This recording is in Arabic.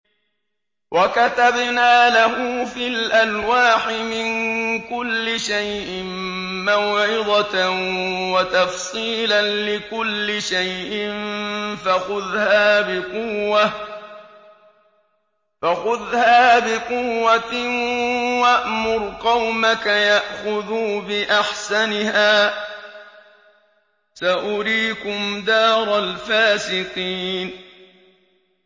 وَكَتَبْنَا لَهُ فِي الْأَلْوَاحِ مِن كُلِّ شَيْءٍ مَّوْعِظَةً وَتَفْصِيلًا لِّكُلِّ شَيْءٍ فَخُذْهَا بِقُوَّةٍ وَأْمُرْ قَوْمَكَ يَأْخُذُوا بِأَحْسَنِهَا ۚ سَأُرِيكُمْ دَارَ الْفَاسِقِينَ